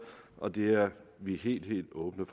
og det er vi helt helt åbne